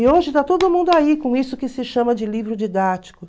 E hoje está todo mundo aí com isso que se chama de livro didático.